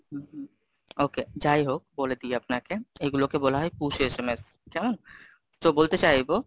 হম, hmm, okay যাই হোক বলে দিই আপনাকে, এগুলোকে বলা হয় push sms, কেমন? তো বলতে চাইবো,